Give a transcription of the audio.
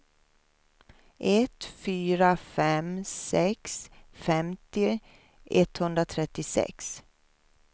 ett fyra fem sex femtio etthundratrettiosex